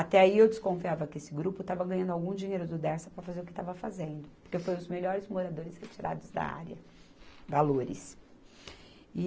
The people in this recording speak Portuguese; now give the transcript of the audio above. Até aí eu desconfiava que esse grupo estava ganhando algum dinheiro do Dersa para fazer o que estava fazendo, porque foram os melhores moradores retirados da área, valores.